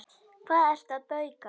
Hvað ertu að bauka?